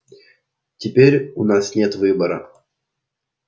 теперь у нас нет выбора